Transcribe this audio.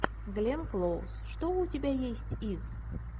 гленн клоуз что у тебя есть из